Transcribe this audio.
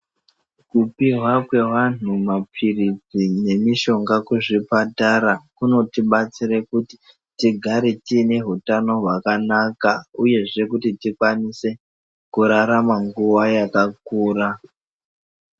Kupihwa kwe vanhu ma pilisi ne mishonga ku zvibatara kuno tibatsira kuti tigare tine utano hwaka naka uyezve kuti tikwanisa kurarama nguva yakakura.